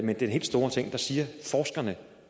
den helt store ting siger forskerne